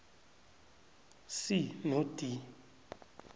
c no d